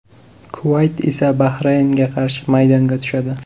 Kuvayt esa Bahraynga qarshi maydonga tushadi.